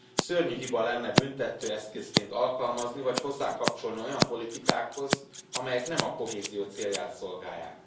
Szörnyű hiba lenne büntetőeszközként alkalmazni vagy hozzákapcsolni olyan politikákhoz, amelyek nem a kohézió célját szolgálják.